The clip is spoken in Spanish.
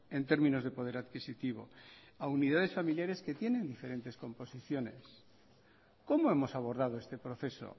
en términos de poder adquisitivo a unidades familiares que tienen diferentes composiciones cómo hemos abordado este proceso